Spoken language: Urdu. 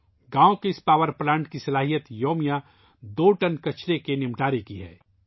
گاؤں کے اس پاور پلانٹ کی صلاحیت یومیہ دو ٹن کچرے کا استعمال کرنا ہے